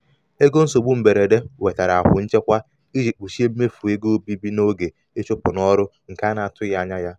ego nsogbu mberede wetara akwụ nchekwa iji kpuchie mmefu ego obibi n'oge ịchụpụ n'ọrụ nke na-atụghị anya na-atụghị anya ya.